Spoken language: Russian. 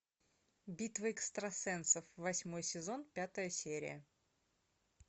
битва экстрасенсов восьмой сезон пятая серия